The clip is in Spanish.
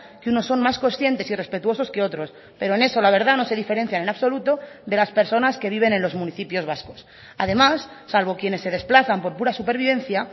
que unos son más conscientes y respetuosos que otros pero en eso la verdad no se diferencian en absoluto de las personas que viven en los municipios vascos además salvo quienes se desplazan por pura supervivencia